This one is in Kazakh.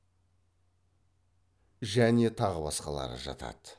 және тағы басқалары жатады